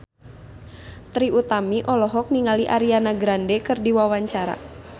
Trie Utami olohok ningali Ariana Grande keur diwawancara